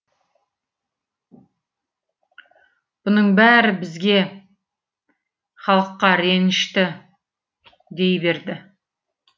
бұның бәрі бізге халыққа ренішті дей берді